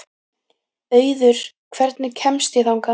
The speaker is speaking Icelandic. Auður, hvernig kemst ég þangað?